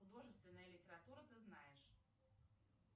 художественная литература ты знаешь